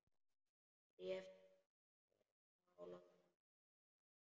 Bréf þitt frá London, dags.